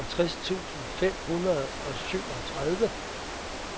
seksogtres tusind fem hundrede og syvogtredive